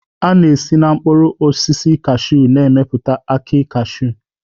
A na-esi na mkpụrụ osisi cashew na-emepụta akị cashew